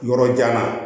Yɔrɔ jan na